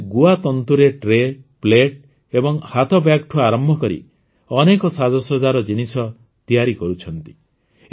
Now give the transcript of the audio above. ଏମାନେ ଗୁଆ ତନ୍ତୁରେ ଟ୍ରେ ପ୍ଲେଟ୍ ଓ ହାତବ୍ୟାଗ୍ଠୁ ଆରମ୍ଭ କରି ଅନେକ ସାଜସଜ୍ଜାର ଜିନିଷ ତିଆରି କରୁଛନ୍ତି